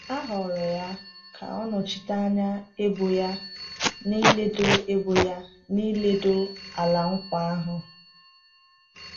A họọrọ ya ka ọ nọchite anya ebo ya n’ịledo ebo ya n’ịledo Ala Nkwa ahụ.